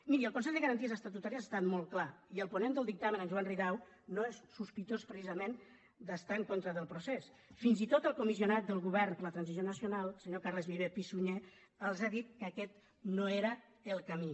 miri el consell de garanties estatutàries ha estat molt clar i el ponent del dictamen en joan ridao no és sospitós precisament d’estar en contra del procés fins i tot el comissionat del govern per la transició nacional el senyor carles viver i pi sunyer els ha dit que aquest no era el camí